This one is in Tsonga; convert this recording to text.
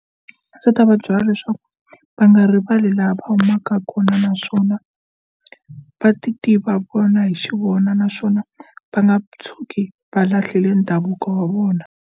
A ndzi ta va byela leswaku va nga rivali laha va humaka kona naswona va ti tiva vona hi xivona naswona va nga tshuki va lahleli ndhavuko wa vona.